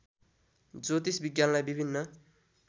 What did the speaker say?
ज्योतिष विज्ञानलाई विभिन्न